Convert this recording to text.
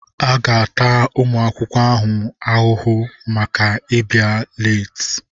A ga-ata ụmụ akwụkwọ ahụhụ maka ịbịa leeti.